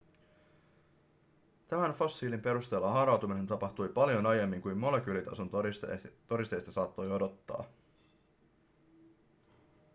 tämän fossiilin perusteella haarautuminen tapahtui paljon aiemmin kuin molekyylitason todisteista saattoi odottaa